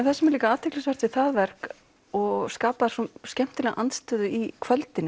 það sem er líka athyglisvert við það verk og skapar skemmtilega andstöðu í kvöldinu